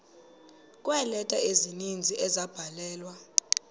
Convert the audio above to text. kweeleta ezininzi ezabhalelwa